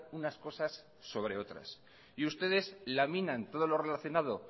unas cosas sobre otras y ustedes laminan todo lo relacionado